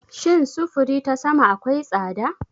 Shin sufuri ta sama akwai tsada?